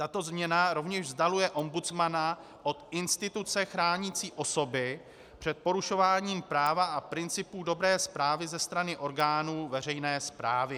Tato změna rovněž vzdaluje ombudsmana od instituce chránící osoby před porušováním práva a principu dobré správy ze strany orgánů veřejné správy.